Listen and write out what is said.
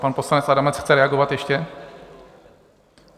Pan poslanec Adamec chce reagovat ještě?